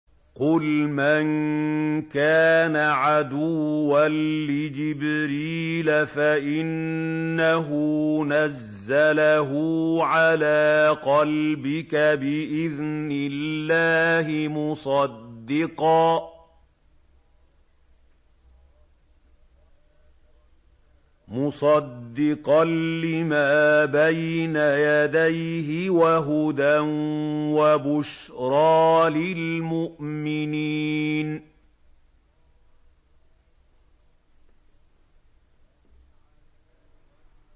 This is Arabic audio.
قُلْ مَن كَانَ عَدُوًّا لِّجِبْرِيلَ فَإِنَّهُ نَزَّلَهُ عَلَىٰ قَلْبِكَ بِإِذْنِ اللَّهِ مُصَدِّقًا لِّمَا بَيْنَ يَدَيْهِ وَهُدًى وَبُشْرَىٰ لِلْمُؤْمِنِينَ